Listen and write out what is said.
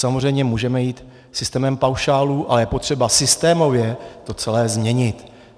Samozřejmě můžeme jít systémem paušálů, ale je potřeba systémově to celé změnit.